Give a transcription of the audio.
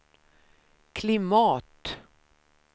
klimat